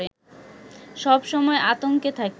সব সময় আতঙ্কে থাকি